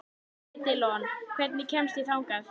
Edilon, hvernig kemst ég þangað?